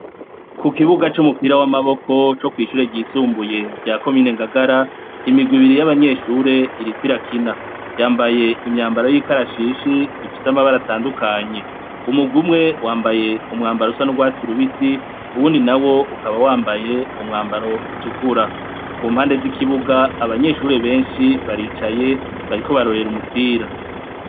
Ku kibuga c'umupira w'amaboko co kw'ishure ryisumbuye rya komine Ngagara, imigwi ibiri y'abanyeshure iriko irakina. Yambaye imyambaro y'ikarashishi, ifise amabara atandukanye. Umurwi umwe wambaye umwambaro usa n'urwatsi rubisi, uwundi nawo ukaba wambaye umwambaro utukura. Ku mpande z'ikibuga, abanyeshure benshi baricaye , bariko barorera umupira.